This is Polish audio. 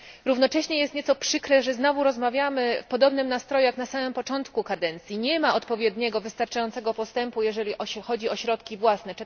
Równocześnie jest nieco przykre, że znowu rozmawiamy w podobnym nastroju, jak na samym początku kadencji. Nie ma odpowiednio wystarczającego postępu, jeżeli chodzi o środki własne.